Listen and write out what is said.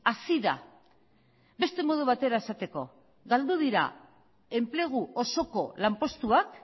hazi da beste modu batera esateko galdu dira enplegu osoko lanpostuak